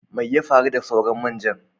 Mai ya faru da sauran main jan?